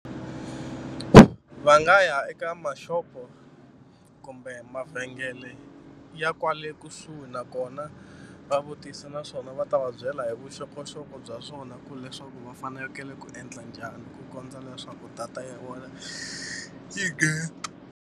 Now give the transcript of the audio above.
Va nga ya eka maxopo kumbe mavhengele ya kwale kusuhi nakona va vutise naswona va ta va byela hi vuxokoxoko bya swona ku leswaku va fanekele ku endla njhani ku kondza leswaku data ya vona yi nghena.